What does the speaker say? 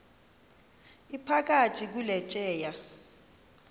iphakathi kule tyeya